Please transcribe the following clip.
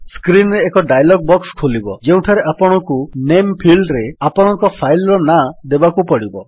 screen ରେ ଏକ dialog box ଖୋଲିବ ଯେଉଁଠାରେ ଆପଣଙ୍କୁ ନାମେ ଫିଲ୍ଡରେ ଆପଣଙ୍କ ଫାଇଲ୍ ର ନାଁ ଦେବାକୁ ପଡ଼ିବ